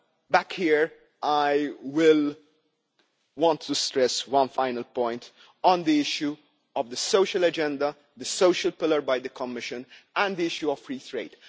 Back here, I want to stress one final point on the issue of the social agenda, the social pillar of the Commission, and the issue of free trade.